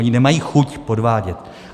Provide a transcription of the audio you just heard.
Oni nemají chuť podvádět.